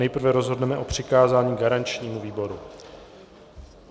Nejprve rozhodneme o přikázání garančnímu výboru.